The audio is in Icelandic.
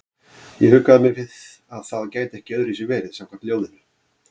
Ég huggaði mig við að það gæti ekki öðruvísi verið samkvæmt ljóðinu.